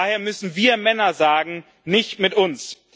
Daher müssen wir Männer sagen Nicht mit uns.